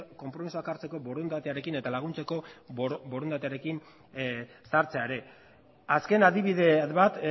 konpromisoak hartzeko borondatearekin eta laguntzeko borondatearekin sartzea ere azken adibide bat